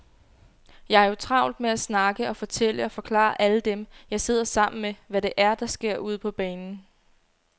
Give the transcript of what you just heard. Jeg har jo travlt med at snakke og fortælle og forklare alle dem, jeg sidder sammen med, hvad det er, der sker ude på banen.